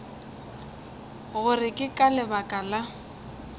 gore ke ka lebaka la